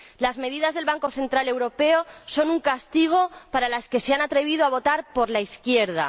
Las medidas del Banco Central Europeo son un castigo para los que se han atrevido a votar por la izquierda